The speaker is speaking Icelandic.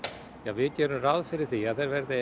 við gerum ráð fyrir því að